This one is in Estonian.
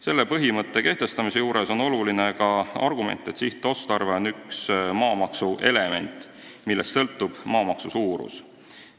Selle põhimõtte kehtestamisel on oluline ka argument, et sihtotstarve on üks maamaksu element, millest sõltub maamaksu suurus.